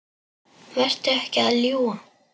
Vertu ekki að ljúga!